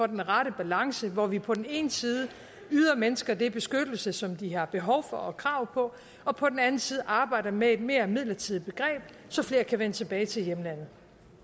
den rette balance hvor vi på den ene side yder mennesker den beskyttelse som de har behov for og krav på og på den anden side arbejder med et mere midlertidigt begreb så flere kan vende tilbage til hjemlandet